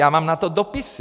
Já mám na to dopisy.